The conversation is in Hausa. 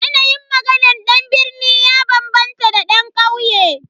Yanayin maganan dan birni ya bambanta da dan kauye.